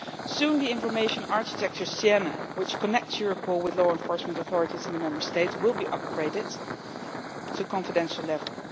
Soon the Siena information architecture, which connects Europol with law enforcement authorities in the Member States, will be upgraded to confidential level.